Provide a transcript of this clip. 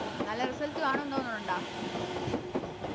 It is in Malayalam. നല്ല Result കാണുന്ന് തോന്നാണൊണ്ട